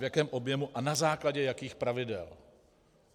V jakém objemu a na základě jakých pravidel.